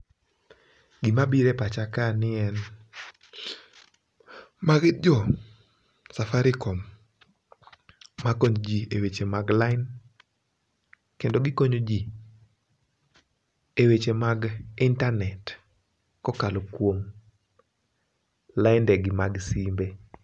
gima bire pacha ka ni en, magi jo Safaricom makonyo jii eweche mag line kendo gikonyo jii eweche mag internet kokalo kuoma lainde gi mag simbe.